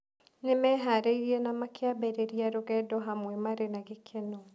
Nĩ meharĩirie na makĩambĩrĩria rũgendo hamwe marĩ na gĩkeno.